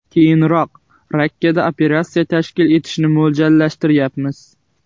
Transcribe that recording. Keyinroq Rakkada operatsiya tashkil etishni mo‘ljallayapmiz.